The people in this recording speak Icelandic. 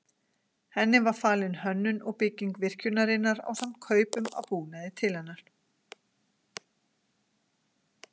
Henni var falin hönnun og bygging virkjunarinnar ásamt kaupum á búnaði til hennar.